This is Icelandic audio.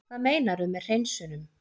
Hvað meinarðu með hreinsunum?